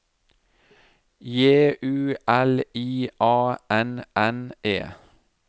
J U L I A N N E